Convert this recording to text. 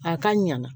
A ka ɲana